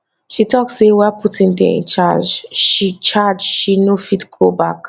she tok say while putin dey in charge she charge she no fit go back